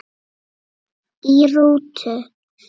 Í rútu